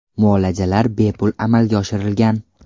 Muolajalar bepul amalga oshirilgan.